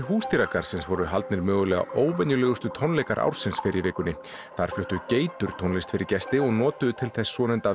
húsdýragarðsins voru haldnir mögulega óvenjulegustu tónleikar ársins fyrr í vikunni þar fluttu geitur tónlist fyrir gesti en notuðu til þess svonefnda